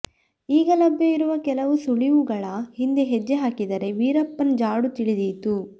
ಈಗ ಲಭ್ಯವಿರುವ ಕೆಲವು ಸುಳಿವುಗಳ ಹಿಂದೆ ಹೆಜ್ಜೆ ಹಾಕಿದರೆ ವೀರಪ್ಪನ್ನ ಜಾಡು ತಿಳಿದೀತು